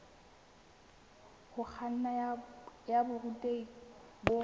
ho kganna ya borutehi bo